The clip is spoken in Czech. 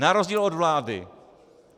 Na rozdíl od vlády.